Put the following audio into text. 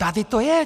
Tady to je.